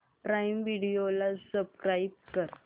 prime Video ला subscribe कर